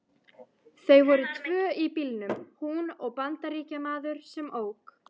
Þau voru tvö í bílnum, hún og Bandaríkjamaður sem ók.